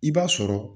I b'a sɔrɔ